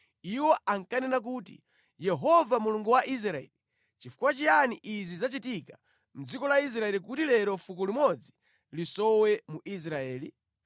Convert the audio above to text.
Iwo ankanena kuti, “Yehova Mulungu wa Israeli, nʼchifukwa chiyani izi zachitika mʼdziko la Israeli kuti lero fuko limodzi lisowe mu Israeli?”